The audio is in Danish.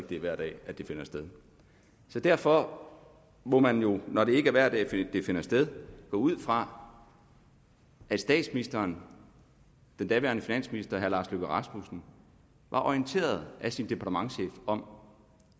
det er hver dag det finder sted derfor må man jo når det ikke er hver dag det finder sted gå ud fra at statsministeren den daværende finansminister lars løkke rasmussen var orienteret af sin departementschef om